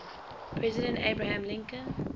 president abraham lincoln